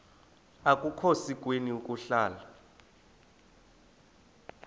akukhona sikweni ukuhlala